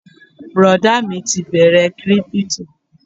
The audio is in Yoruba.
Bùrọ̀dá mi ti bẹ̀rẹ kírípítò